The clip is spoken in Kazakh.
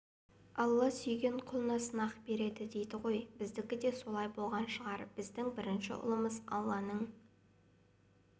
алла сүйген құлына сынақ береді дейді ғой біздікі де солай болған шығар біздің бірінші ұлымыз алланың